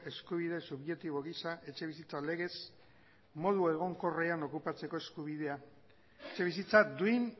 eskubide subjektibo gisa etxebizitza legez modu egonkorrean okupatzeko eskubidea etxebizitza duin